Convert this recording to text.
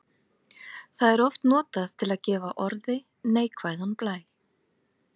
Það er oft notað til að gefa orði neikvæðan blæ.